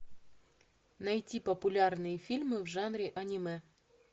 найти популярные фильмы в жанре анимэ